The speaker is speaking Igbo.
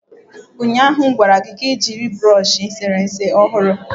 Ụnyaahụ m gwara gị ka ị jiri brush eserese ọhụrụ